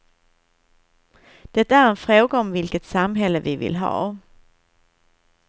Det är en fråga om vilket samhälle vi vill ha.